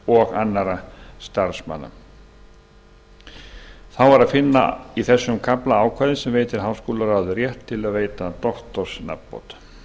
og annarra starfsmanna þá er að finna í þessum kafla ákvæði sem veitir háskólaráði rétt til að veita doktorsnafnbót